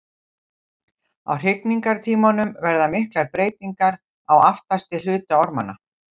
Á hrygningartímanum verða miklar breytingar á aftasti hluta ormanna.